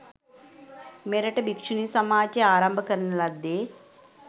මෙරට භික්‍ෂුණී සමාජය ආරම්භ කරන ලද්දේ